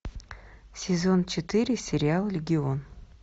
сезон четыре сериал легион